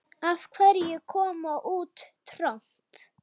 Af hverju kom út tromp?